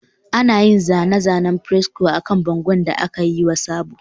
Ana yin zane-zanen fresco akan bangon da aka yi wa sabo